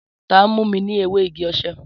Tàn mù mi ni èwé ìgí òse?